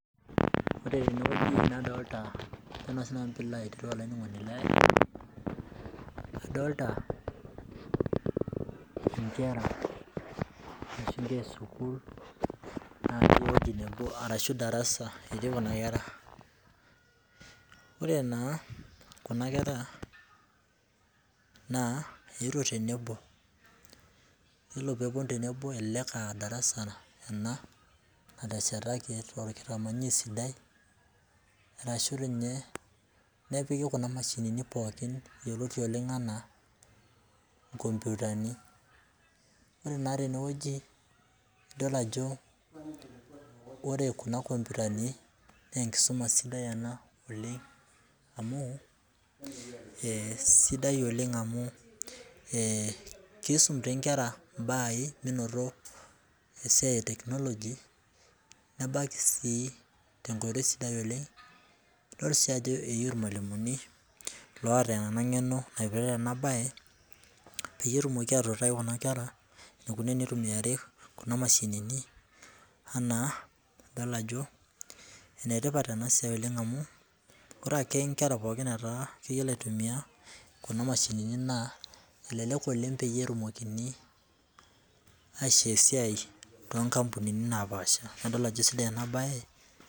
Ore tene wueji nadolita ajo naa sinanu piilo aitereu olaininingoni lai adolita inkera ashu inkera esuukul natii ewueji nebo ashu darasa etii Kuna nkera . Ore naa kuna nkera naa, eetuo tenebo yilo pee eponu tenebo elelek ah darasa ena nateshetaki aitaa orkitamanyunet sidai arashu dii ninye nepiki kuna mashinini pookin yioloti oleng enaa inkoputani. Ore naa tene wueji idol ajo wore kuna kopitani naa enkisuma sidai ena oleng amu, eh sidai oleng amu, eh kisum dii nkera imbaaai menoto esiai eteknologi nabaiki sii tenkoitoi sidai oleng idol sii ajo eyieu irmwalimuni loota ena ngeno naipirta ena bae peyie etumoki atuutai Kuna nkera enikoni tenitumiare kuna mashinini enaa, adol ajo enetipat ena siai oleng amu, ore ake nkera pookin netaa keyiolo aitumia kuna mashinini naa elelek oleng peetumokini aishoo esiai too kapunini naapasha . Nadol ajo sidai ena bae.